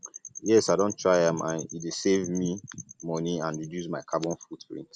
um yes um i don um try am and e dey save me dey save me money and reduce my carbon footprint